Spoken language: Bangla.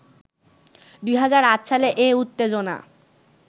২০০৮ সালে এ উত্তেজনা